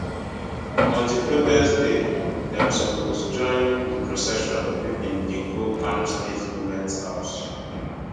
on di protest day dem suppose join di procession wey bin dey go kano state goment house